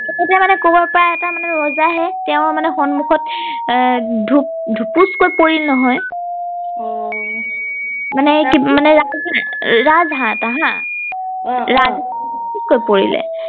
মানে কৰবাৰ পৰা মানে এটা ৰজা আহে তেওঁ মানে সন্মুখত আহ ধূপুচ কৈ পৰিল নহয় আহ মানে ৰাজ হাহ এটা হা অ অ ৰাজ হাঁহ পৰিলে